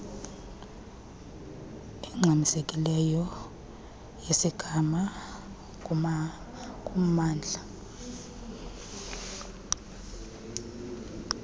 engxamisekileyo yesigama kumamndla